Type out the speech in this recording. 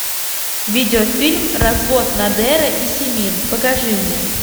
видеофильм развод надера и симин покажи мне